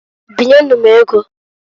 Binye nu m ego.